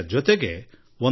ನಿಮಗೂ ಈ ಅನುಭವಿಸಿರಬಹುದು